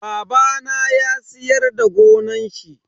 Babana ya siyar da gonan shi.